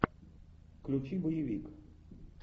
включи боевик